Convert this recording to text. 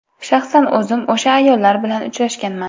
Shaxsan o‘zim o‘sha ayollar bilan uchrashganman.